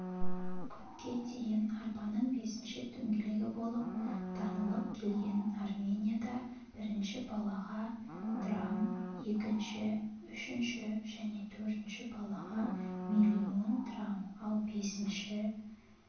көпке дейін арбаның бесінші дөңгелегі болып танылып келген арменияда бірінші балаға драм екінші үшінші және төртінші балаға миллион драм ал бесінші